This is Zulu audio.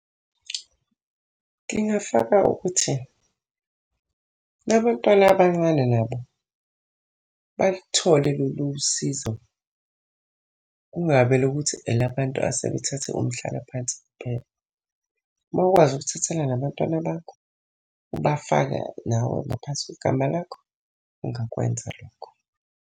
Ngingafaka ukuthi nabantwana abancane nabo balithole lolu sizo, kungabe elokuthi elabantu asebethathe umhlalaphansi kuphela. Uma ukwazi ukuthathela nabantwana bakho, ubafake nawe ngaphansi kwegama lakho, ungakwenza lokho.